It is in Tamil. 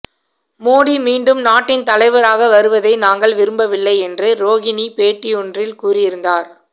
மோடி மீண்டும் நாட்டின் தலைவராக வருவதை நாங்கள் விரும்பவில்லை என்று ரோகிணி பேட்டியொன்றில் கூறியிருந்தார்